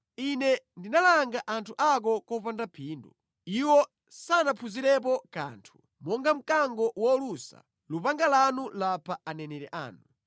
“Ine ndinalanga anthu ako popanda phindu; iwo sanaphunzirepo kanthu. Monga mkango wolusa, lupanga lanu lapha aneneri anu.